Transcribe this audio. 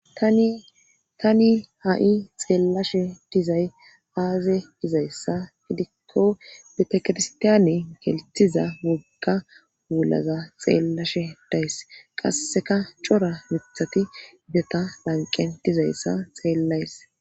Tani ha7i xeellashe dizay aaze gizayssa gidikko bitakitstaane gelthiza wogga wulaza xeellashe days qasseka cora mithati beta lanqen dizayssa xeellays.